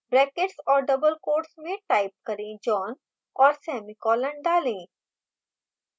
brackets और double quotes में type करें john और semicolon डालें